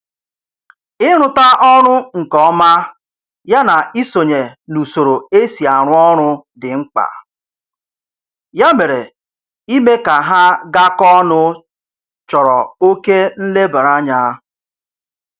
Ịrụta ọrụ nke ọma ya na isonye n'usoro e si arụ ọrụ dị mkpa, ya mere ime ka ha gakọọ ọnụ chọrọ oke nlebaranya